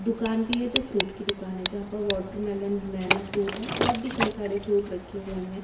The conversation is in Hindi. दुकान भी है जो फ्रूट की दुकान है जहां पर वाटरमेलन बनाना फ्रूट है और भी कई सारे फ्रूट रखे हुए हैं।